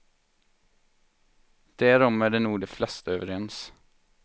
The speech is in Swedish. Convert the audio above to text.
Därom är nog de flesta överens.